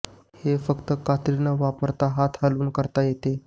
हे फक्त कात्री न वापरता हात हलवून करता येते